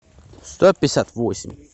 сто пятьдесят восемь